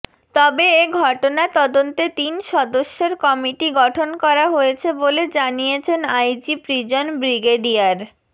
তবে এ ঘটনা তদন্তে তিন সদস্যের কমিটি গঠন করা হয়েছে বলে জানিয়েছেন আইজি প্রিজন ব্রিগেডিয়ার